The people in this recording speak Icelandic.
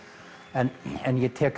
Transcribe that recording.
en ég tek